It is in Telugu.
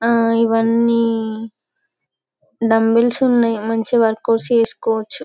ఆ ఈవియాని దుంబిల్స్ ఉన్నాయి. మంచి వర్కౌట్ చేసికోవచ్చు.